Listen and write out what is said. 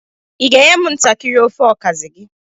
Ị ga-enye m ntakịrị ofe okazi gị?